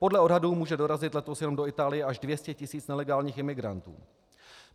Podle odhadů může dorazit letos jenom do Itálie až 200 tisíc nelegálních imigrantů.